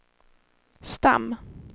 stam